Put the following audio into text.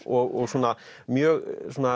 og svona mjög